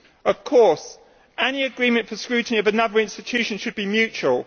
Of course, any agreement for scrutiny of another institution should be mutual.